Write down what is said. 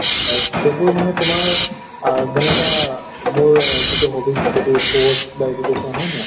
হয় সেইবোৰ নহয় তোমাৰ আহ যেনুকা আহ মোৰ যিটো hobbies সেইটো sports বা education হয় নে নহয়?